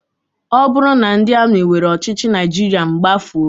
Ọ bụrụ na ndị amị were ọchịchị Naịjirịa, m gbafuo.